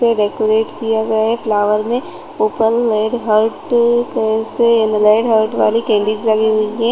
से डेकोरेट किया गया फ्लावर में ऊपर लेड हर्ट के से येलो हर्ट वाली कैंडिल्स लगी हुई है।